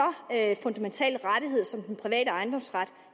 fundamental rettighed som den private ejendomsret